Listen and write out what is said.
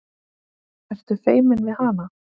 Ertu feiminn við hana?